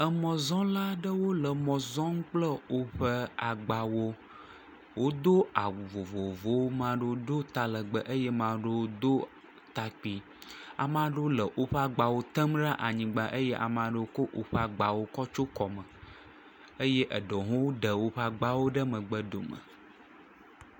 Emɔzɔla aɖewo le emɔ zɔm kple woƒe agbawo. Wodo awu vovovowo, mea ɖewo do talegbe eye mea ɖewo do takpui. Ame aɖewo le woƒe agbawo tem ɖe anyigba eye ame aɖewo kɔ woƒe agbawo tsyɔ kɔme eye eɖewo hã woɖe woƒe agbawo ɖe megbe dome.